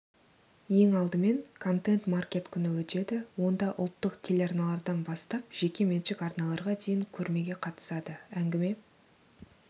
ең алдымен контент-маркет күні өтеді онда ұлттық телеарналардан бастап жекеменшік арналарға дейін көрмеге қатысады әңгіме